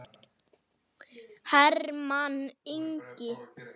Hermann Ingi.